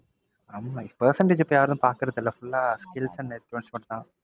ஆமா percentage இப்ப யாரும் பாக்குறது இல்ல. full ஆ skills and approach மட்டும் தான்.